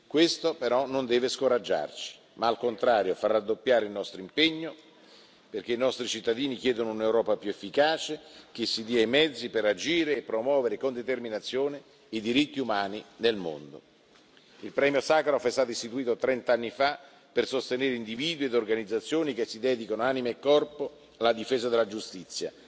Questo però non deve scoraggiarci ma, al contrario, far raddoppiare il nostro impegno, perché i nostri cittadini chiedono un'Europa più efficace, che si dia i mezzi per agire e promuovere con determinazione i diritti umani del mondo. Il premio Sacharov è stato istituito trent'anni fa per sostenere individui e organizzazioni che si dedicano, anima e corpo, alla difesa della giustizia,